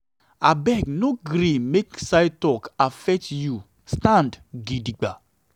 abeg o no gree make side talk affect you stand gidigba.